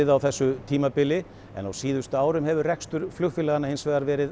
á þessu tímabili en á síðustu árum hefur rekstur flugfélaga verið